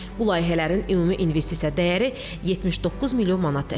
Bu layihələrin ümumi investisiya dəyəri 79 milyon manat təşkil edir.